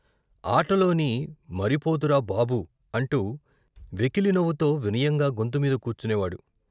ఆటలోని మరిపోతురా బాబూ అంటూ వెకిలి నవ్వుతో వినయంగా గొంతు మీద కూర్చునే వాడు.